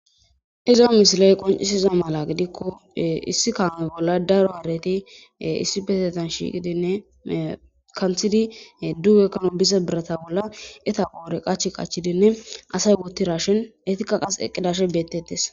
Iza misile qoncidayisi mala gidiko issi kame bolla daro hareti issippetetan shiqidi duge biza borata bollan etha qore qachi qachidinne asayi wotidayisinne etika eqizayisi betees